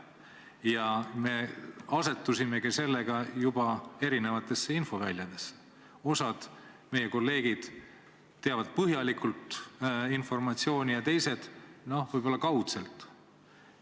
Ja sellega me asetusimegi juba erinevatesse infoväljadesse – osa meie kolleege teab informatsiooni põhjalikult, osa teab võib-olla kaudselt.